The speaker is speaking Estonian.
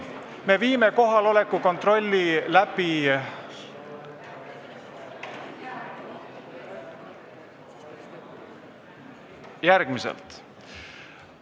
Me viime kohaloleku kontrolli läbi järgmiselt.